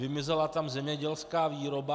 Vymizela tam zemědělská výroba.